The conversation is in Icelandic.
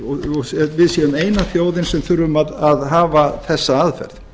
séum að við séum eina þjóðin sem þarf að hafa þessa aðferð